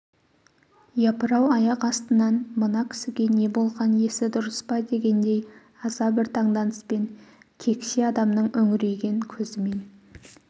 япыр-ау аяқ астынан мына кісіге не болған есі дұрыс па дегендей аса бір таңданыспен кексе адамның үңірейген көзімен